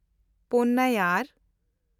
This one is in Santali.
ᱯᱚᱱᱱᱮᱭᱭᱟᱨ